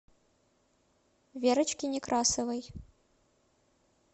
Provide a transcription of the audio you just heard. верочке некрасовой